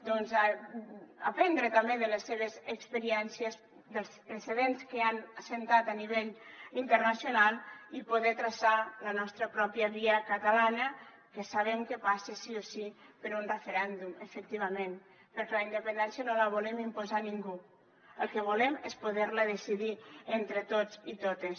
doncs veure aprendre també de les seves experiències dels precedents que han establert a nivell internacional i poder traçar la nostra pròpia via catalana que sabem que passa sí o sí per un referèndum efectivament perquè la independència no la volem imposar a ningú el que volem és poder la decidir entre tots i totes